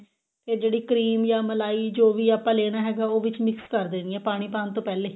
ਤੇ ਜਿਹੜੀ cream ਜਾਂ ਮਲਾਈ ਜੋ ਵੀ ਆਪਾਂ ਲੇਣਾ ਹੈਗਾ ਉਹ ਵਿੱਚ mix ਕਰ ਦੇਣੀ ਏ ਪਾਣੀ ਪਾਉਣ ਤੋਂ ਪਿਹਲੇ